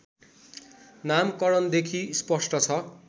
नामकरणदेखि स्पष्ट छ